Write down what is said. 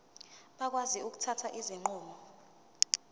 bakwazi ukuthatha izinqumo